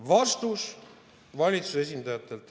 Vastus valitsuse esindajatelt.